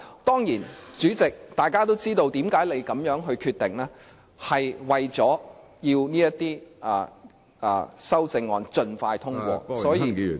當然，大家都知道，主席作出這樣決定的原因，是為了要讓這些修正案盡快通過，所以......